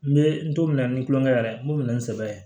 N bɛ n t'o minɛ ni tulonkɛ yɛrɛ n b'o minɛ ni n sɛbɛ ye